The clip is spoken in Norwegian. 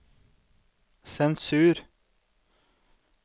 sensur